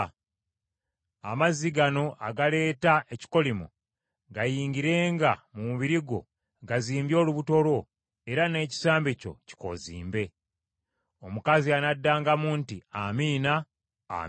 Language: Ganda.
Amazzi gano agaleeta ekikolimo gayingirenga mu mubiri gwo gazimbye olubuto lwo era n’ekisambi kyo kikoozimbe.’ “Omukazi anaddangamu nti, ‘Amiina, Amiina.’